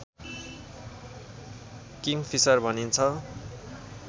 Kingfisher भनिन्छ